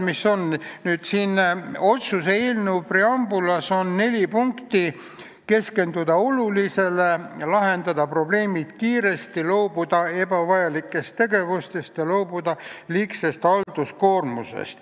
Otsuse eelnõu preambulis on neli punkti: keskenduda olulisele, lahendada probleemid kiiresti, loobuda ebavajalikest tegevustest ja loobuda liigsest halduskoormusest.